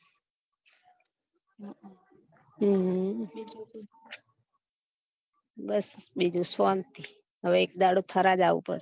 હમ બસ બીજું શાંતિ હવે એક દાડો થરા જાવું પડશે